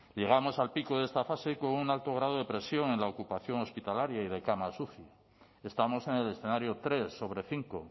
llegamos al pico de esta fase con un alto grado de presión en la ocupación hospitalaria y de camas uci estamos en el escenario tres sobre cinco